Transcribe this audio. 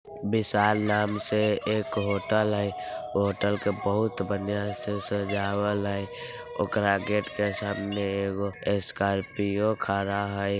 विशाल नाम से एक होटल हई। होटल के बहुत बंहिया से सजावल हई। ओकरा गेट के सामने एगो ए स्कार्पिओ खड़ा हई|